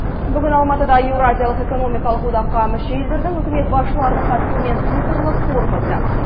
бүгін алматыда еуразиялық экономикалық одаққа мүше елдердің үкімет басшыларының қатысуымен цифрлық форум өтті